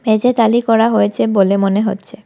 মেঝে তালি করা হয়েছে বলে মনে হচ্ছে।